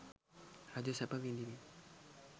රජ සැප විඳිමින්